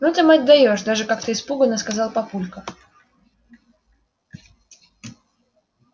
ну ты мать даёшь даже как-то испуганно сказал папулька